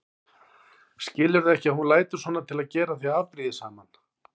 Skilurðu ekki að hún lætur svona til að gera þig afbrýðisaman?